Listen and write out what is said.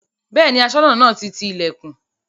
Bẹ́ẹ̀ni Aṣọ́nà náà ti ti ilẹ̀kùn